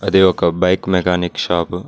అది ఒక bike mechanic shop .